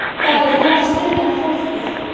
Þar er plastið nefnt hólkur.